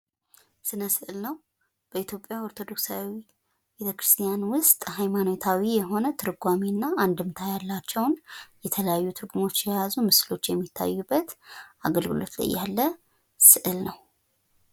ስነ ስእል ነው። በኢትዮጵያ ኦርቶዶክሳዊ ቤተክርስቲያን ውስጥ ሀይማኖታዊ የሆነ ትርጓሜና እንድምታ ያላቸውን የተለያዩ ትርጉሞችን የያዙ ምስሎች የሚታዩበት አገልግሎት ላይ ያለ ስዕል ነው።